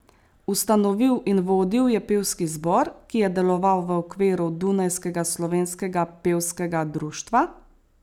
Ustanovil in vodil je pevski zbor, ki je deloval v okviru dunajskega slovenskega pevskega društva.